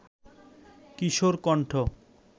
কিশোর কণ্ঠ